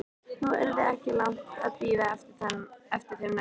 Nú yrði ekki langt að bíða eftir þeim næsta.